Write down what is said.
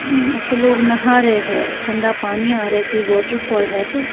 उम ऐसे लोग नहा रहे हैं ठंडा पानी आ रहा है कि वाटरफॉल है तो--